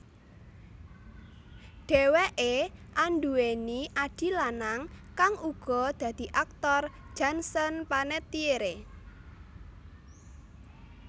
Dheweké anduwèni adhi lanang kang uga dadi aktor Jansen Panettiere